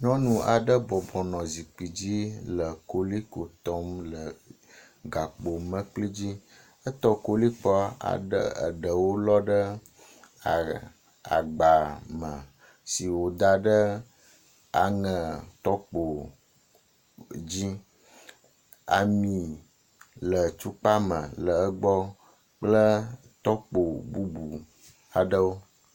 Nyɔnu aɖe bɔbɔ nɔ zikpui le koliko tɔm le gakpo mlekpui dzi. Etɔ kolikoa aɖe eɖewo lɔ ɖe agba me si wòda ɖe aŋe tɔkpo dzi. Ami le tukpa me le egbɔ kple tɔkpo bubu aɖewo.